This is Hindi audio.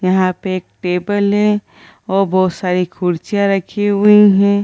यहाँ पे एक टेबल है और बहुत सारी कुर्सियाँ रखी हुई हैं ।